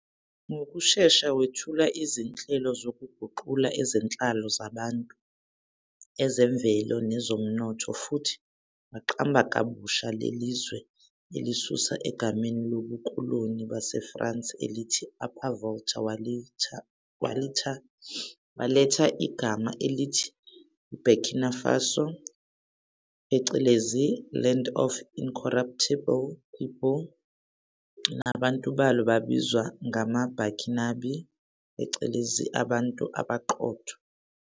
Ngokushesha wethula izinhlelo zokuguqula ezenhlalo yabantu, ezemvelo nezomnotho futhi waqamba kabusha leli zwe elisusa egameni lobukoloni baseFrance elithi Upper Volta walitha igama elithi eBurkina Faso phecelezi "Land of Incorruptible People", nabantu balo babizwa ngamaBurkinabé phecelezi "abantu abaqotho".